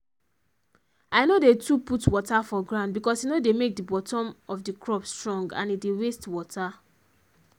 i no dey too put water for ground because e no dey make the bottom of the crop strong and e dey waste water